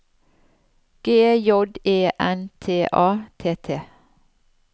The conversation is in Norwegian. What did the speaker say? G J E N T A T T